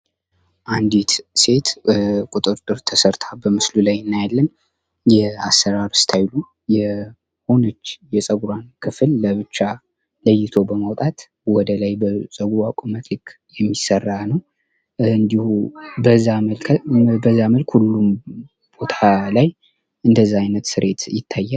አንዲት ሴት ቁጥርጥር ተሰርታ በምስሉ ላይ እናያለን። የአሰራር እስታይሉ የአሰራር እስታይሉ የሆነች የፀጉሯን ክፍል ለብቻ ለይቶ በማውጣት ወደላይ በፀጉሯ ቁመት ልክ የሚሰራ ነው። እንዲሁ በዛ መልክ ሁሉም ቦታ ላይ እንደዛ አይነት ስሬት ይታያል።